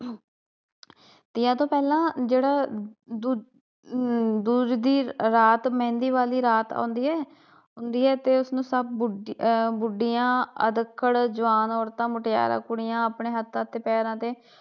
ਤੀਆਂ ਤੋਂ ਪਹਿਲਾ ਜਿਹੜਾ ਆਹ ਦੂਜ ਦੀ ਰਾਤ ਮਹਿੰਦੀ ਵਾਲੀ ਰਾਤ ਆਉਂਦੀ ਏ ਹੁੰਦੀ ਏ ਤੇ ਉਸ ਨੂੰ ਸਭ ਬੁਢੀਆਂ, ਅੱਧਖੜ ਜਵਾਨ ਔਰਤਾਂ, ਮੁਟਿਆਰਾਂ ਕੁੜੀਆਂ ਆਪਣੇ ਹੱਥਾਂ ਤੇ ਪੈਰਾਂ ਤੇ